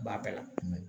B'a bɛɛ la